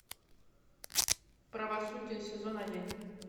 правосудие сезон один